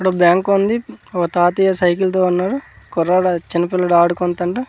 అక్కడ బ్యాంకు ఉంది ఒక తాతయ్య సైకిల్ తో ఉన్నాడు ఒక కుర్రోడు చిన్న పిల్లోడు ఆడుకుంటూండు.